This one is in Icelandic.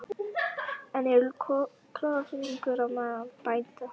En er klofningur á meðal bænda?